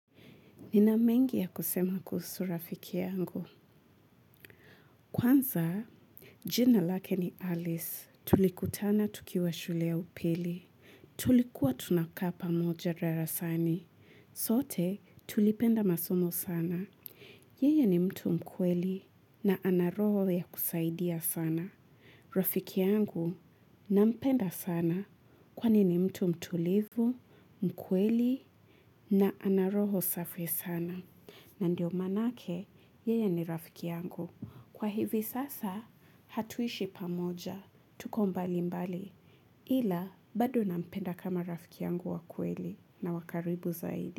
Nina mengi ya kusema kuhusu rafiki yangu. Kwanza, jina lake ni Alice. Tulikutana tukiwa shule ya upili. Tulikuwa tunakaa pamoja darasani. Sote, tulipenda masomo sana. Yeye ni mtu mkweli na anaroho ya kusaidia sana. Rafiki yangu nampenda sana kwani ni mtu mtulivu, mkweli na anaroho safi sana. Na ndio manake yeye ni rafiki yangu. Kwa hivi sasa hatuishi pamoja, tuko mbali mbali. Ila badu nampenda kama rafiki yangu wa kweli na wakaribu zaidi.